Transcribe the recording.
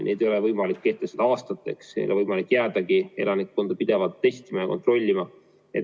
Neid ei ole võimalik kehtestada aastateks, ei ole võimalik jäädagi elanikkonda pidevalt testima ja kontrollima.